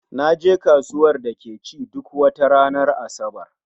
Naje kasuwar da ke ci duk wata ranar Asabar